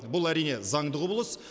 бұл әрине заңды құбылыс